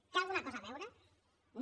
hi té alguna cosa a veure no